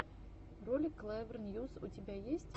ролик клэвер ньюс у тебя есть